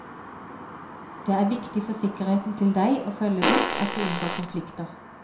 Det er viktig for sikkerheten til deg og følget ditt at du unngår konflikter.